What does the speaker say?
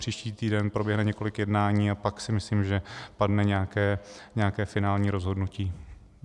Příští týden proběhne několik jednání a pak si myslím, že padne nějaké finální rozhodnutí.